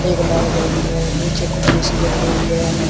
एक लाल गाड़ी है नीचे कुछ ऐ_सी लगी है।